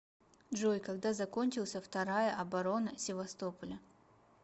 джой когда закончился вторая оборона севастополя